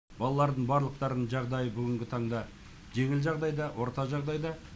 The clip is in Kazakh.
балалардың барлықтарының жағдайы бүгінгі таңда жеңіл жағдайда орта жағдайда